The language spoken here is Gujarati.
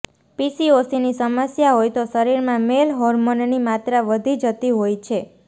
પીસીઓસીની સમસ્યા હોય તો શરીરમાં મેલ હોર્મોનની માત્રા વધી જતી હોય છે